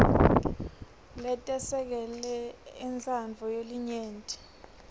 letesekele intsandvo yelinyenti